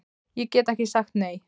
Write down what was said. Ég gat ekki sagt nei.